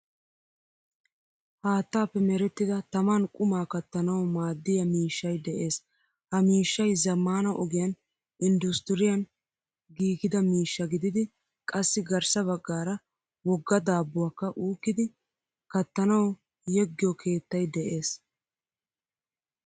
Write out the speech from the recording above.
Haattappe merettida tamaan qumaa kattanawumaadiyaa miishshay de'ees Ha miishshay zammaana ogiyan industiriyan giigida miishshaa gididi qassi garss baggaara wogga daabbuwaakka uukkidi kattanawu yeegiyo keettay de'ees.